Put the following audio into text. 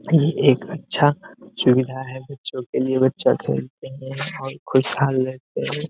ये एक अच्छा सुविधा है बच्चों के लिए बच्चो के और खुशहाल रहते है।